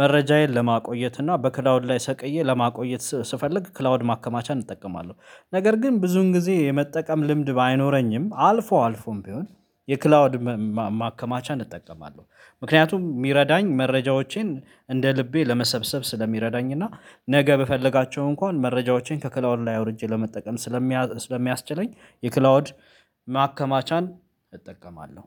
መረጃዬን ለማቆየት እና በከዳውድ ላይ ሰቅዬ ለማቆየት ስፈልግ ክላውድ ማከማቻ እጠቀማለሁ ነገር ግን ብዙን ጊዜ የመጠቀም ልምድ ባይኖረኝም አልፎ አልፎም ቢሆን የክላውድ ማከማቻ እጠቀማለሁ ምክንያቱም የሚረዳኝ መረጃዎቼን እንደ ልቤ ለመሰብሰብ ስለሚረዳኝ እና ነገ በፈለጋቸው እንኳን መረጃዎቼን ከክላውድ ላይ ወርጄ ለመጠቀም ስለሚያ ስለሚያስችለኝ የክላውድ ማከማቻን እጠቀማለሁ።